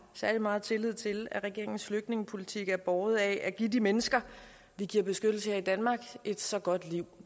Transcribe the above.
særlig meget tillid til at regeringens flygtningepolitik er båret af at give de mennesker vi giver beskyttelse her i danmark et så godt liv